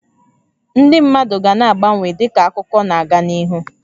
Ndị mmadụ ga na-agbanwe dịka akụkọ na aga n'ihu